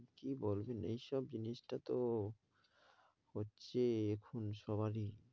কী বলবেন এইসব জিনিসটা তো হচ্ছে এখন সবারই।